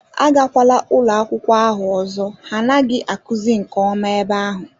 Agakwala ụlọ akwụkwọ ahụ ọzọ ha anaghị akụzi nke ọma ebe ahụ